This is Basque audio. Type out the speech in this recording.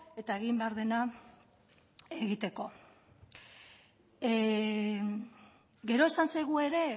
eta egin behar dena egiteko gero esan zaigu ere